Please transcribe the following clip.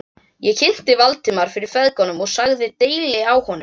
Ég kynnti Valdimar fyrir feðgunum og sagði deili á honum.